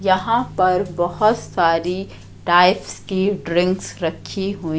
यहां पर बहोत सारी टाइप्स की ड्रिंक्स रखी हुई--